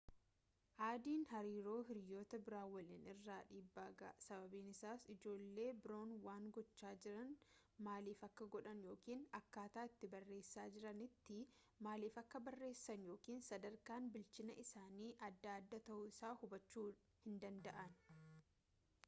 addn hariiroo hiriyoota biroo waliinii irraan dhiibbaa ga'a sababni isaas ijoollee biroon waan gochaa jiran maaliif akka godhan yookaan akkaataa itti barreessaa jiranitti maaliif akka barreessan yookaan sadarkaan bilchina isaanii adda adda ta'uu isaa hubachuu hin danda'an